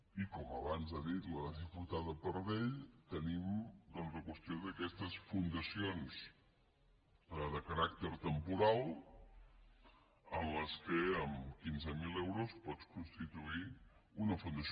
i com abans ha dit la diputada pardell tenim doncs la qüestió d’aquestes fundacions de caràcter temporal en les quals amb quinze mil euros pots constituir una fundació